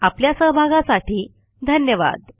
आपल्या सहभागासाठी धन्यवाद